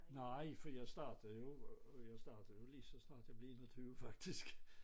Nej for jeg startede jo jeg startede jo lige så snart jeg blev 21 faktisk